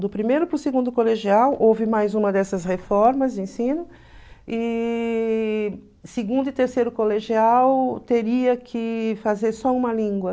Do primeiro para o segundo colegial houve mais uma dessas reformas de ensino e segundo e terceiro colegial teria que fazer só uma língua.